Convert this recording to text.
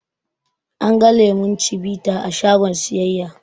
An ga lemon cibita a shagon siyayya